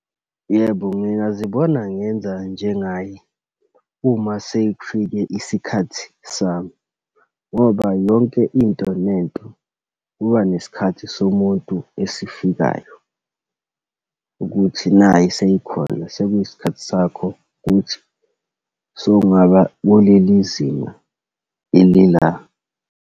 Yebo, ngingazibona ngenza njengaye uma sekufike isikhathi sami. Ngoba yonke into nento, kuba nesikhathi somuntu esifikayo ukuthi nayi seyikhona, sekuyisikhathi sakho kuthi sowungaba kuleli zinga eli la.